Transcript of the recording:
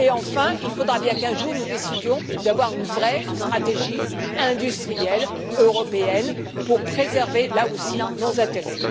Enfin, il faudra bien qu'un jour, nous décidions d'avoir une vraie stratégie industrielle européenne pour préserver, là aussi, nos intérêts.